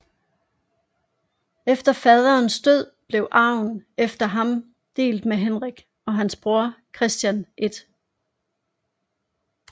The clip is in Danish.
Efter faderens død blev arven efter ham delt mellem Henrik og hans bror Christian 1